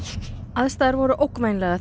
aðstæður voru ógnvænlegar